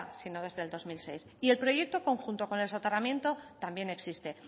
sino desde el dos mil dieciséis y el proyecto conjunto con el soterramiento también existe